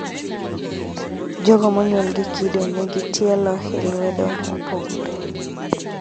Jogo monyuol gi kido ni nigi tielo hi lwedo mopogore